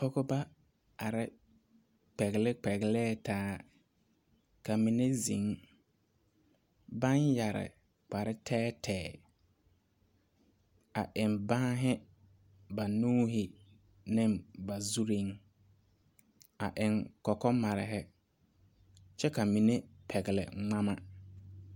Pɔgeba are kpɛle kpɛlɛɛ taa, ka mine zeŋ, baŋ yɛre kparre tɛɛtɛɛ, a eŋ banne ba nuuri ne ba zuri, a eŋ kɔkɔmare kyɛ ka mine pɛgele ŋmama.